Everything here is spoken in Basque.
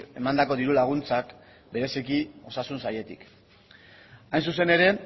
emandako diru laguntzak bereziki osasun sailetik hain zuzen ere